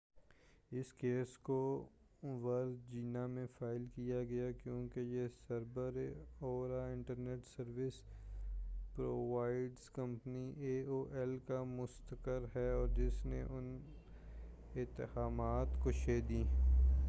اس کیس کو ورجینیا میں فائل کیا گیا کیوں کہ یہ سر بر آوردہ internet service provider company A O L کا مستقر ہے اور جس نے ان اتہامات کو شہ دی